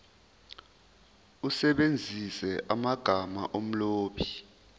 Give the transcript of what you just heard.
usebenzise amagama omlobi